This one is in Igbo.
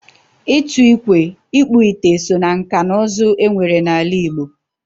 Ịtụ ikwe, Ikpu ite so na nkà na uzu e nwere na ala Igbo